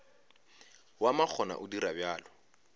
wa makgona o dira bjalo